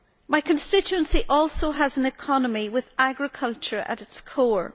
My constituency also has an economy with agriculture at its core.